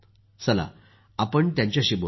चला आपण त्यांच्याशी बोलूया